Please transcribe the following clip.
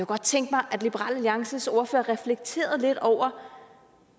godt tænke mig at liberal alliances ordfører reflekterede lidt over